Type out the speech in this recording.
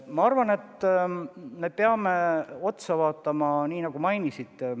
Ma arvan, et me peame probleemile otsa vaatama, nii nagu te märkisite.